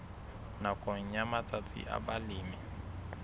nakong ya matsatsi a balemi